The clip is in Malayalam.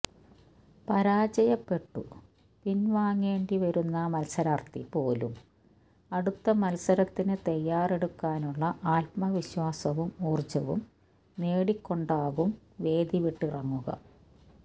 പരാജയപ്പെട്ടു പിന്വാങ്ങേണ്ടിവരുന്ന മത്സരാര്ത്ഥി പോലും അടുത്ത മത്സരത്തിനു തയാറെടുക്കാനുള്ള ആത്മവിശ്വാസവും ഊര്ജവും നേടിക്കൊണ്ടാകും വേദിവിട്ടിറങ്ങുക